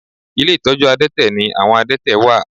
Ilé ìtọ́jú àdẹ́tẹ̀ ni àwọn àdẹ́tẹ̀ wà